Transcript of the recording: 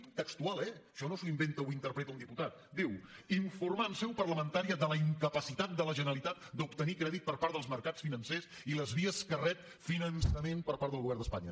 textual eh això no s’ho inventa o ho interpreta un diputat diu informar en seu parlamentària de la incapacitat de la generalitat d’obtenir crèdit per part dels mercats financers i de les vies per què rep finançament per part del govern d’espanya